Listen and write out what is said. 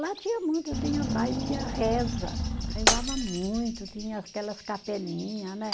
Lá tinha muito, tinha baile, tinha reza, rezava muito, tinha aquelas capelinha, né?